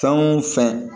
Fɛn o fɛn